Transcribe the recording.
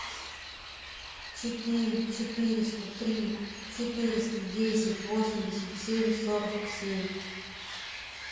четыре четыреста три четыреста десять восемьдесят семь сорок семь